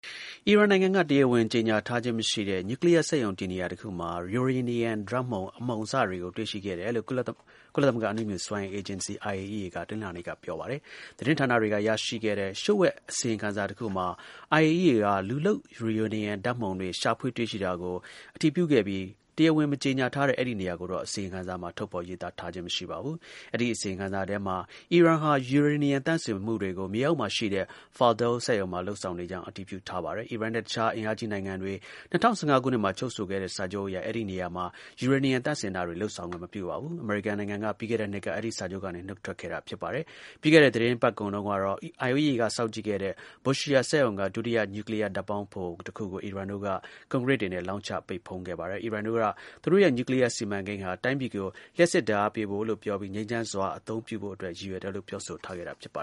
အီရန်နိုင်ငံက တရားဝင် ကြေညာထားခြင်း မရှိတဲ့ နျူကလီးယား စက်ရုံတည်နေရာ တစ်ခုမှာ ယူရေနီယံ ဓါတ်မုန်တွေကို တွေ့ရှိခဲ့တယ်လို့ ကုလသမဂ္ဂ အနုမြူ စွမ်းအင် အေဂျင်စီ (IAEA) က တနင်္လာနေ့က ပြောပါတယ်။ သတင်းဌာနတွေက ရရှိရှိခဲ့တဲ့ လျှို့ဝှက် အစီရင်ခံစာ တစ်ခုမှာ IAEA က လူလုပ် ယူရေနီယီ ဓါတ်မုန်တွေ ရှာဖွေ တွေ့ရှိတာကို အတည်ပြုခဲ့ ပြီး တရားဝင် မကြေညာထားတဲ့ အဲဒီ နေရာကိုတော့ အစီရင်ခံစာ မှာ ထုတ်ဖော် ရေးသာထားခြင်း မရှိပါဘူး။ အဲဒီ အစီရင်ခံစာထဲမှာပဲ အီရန်ဟာ ယူရေနီယံ သန့်စင်မှုတွေကို မြေအောက်မှာ ရှိတဲ့ Fordow စက်ရုံမှာ လုပ်ဆောင်နေကြာင်း အတည်ပြု ထားပါတယ်။ အီရန်နဲ့ တစ်ခြား အင်အားကြီး နိုင်ငံတွေ ၂၀၁၅ ခုနှစ်မှာ ချုပ်ဆိုခဲ့တဲ့ စာချုပ်အရ အဲဒီ နေရာမှာ ယူရေနီယံ သန့်စင်တာတွေ လုပ်ဆောင်ခွင့် မပြုပါဘူး။ အမေရိကန်နိုင်ငံက ပြီးခဲ့တဲ့နှစ်က အဲဒီ စာချုပ်ကနေ နုတ်ထွက်ခဲ့ပါတယ်။ ပြီးခဲ့တဲ့ သီတင်းပတ်ကုန်ကတော့ IAEA က စောင့်ကြည့်နေတဲ့ Bushehr စက်ရုံက ဒုတိယ နျူကလီးယား ဓါတ်ပေါင်းဖိုတစ်ခုကို အီရန်တို့ ကွန်ကရစ်တွေနဲ့ လောင်းချ ပိတ်ဖုံးခဲ့ပါတယ်။ အီရန်တို့က သူတို့ရဲ့ နျူကလီးယား စီမံကိန်းဟာ တိုင်းပြည်ကို လျှပ်စစ် ဓါတ်အားပေးဖို့လို့ ပြောပြီး ငြိမ်းချမ်းစွာ အသုံးပြုဖို့အတွက် ရည်ရွယ်တယ်လို့ ပြောဆိုထားခဲ့တာပါ